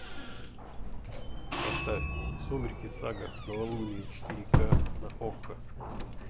поставь сумерки сага новолуние четыре ка на окко